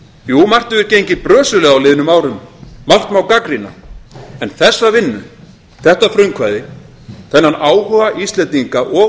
jú margt hefur gengið brösuglega á liðnum árum margt má gagnrýna en þessa vinnu þetta frumkvæði þennan áhuga íslendinga og